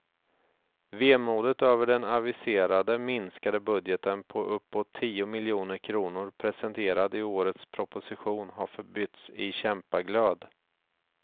Vemodet över den aviserade minskade budgeten på uppåt tio miljoner kronor, presenterad i årets proposition, har förbytts i kämpaglöd.